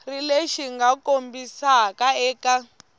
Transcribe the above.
ri lexi mga kombisiwa eka